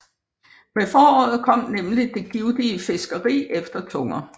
Med foråret kom nemlig det givtige fiskeri efter tunger